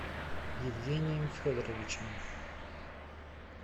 евгением федоровичем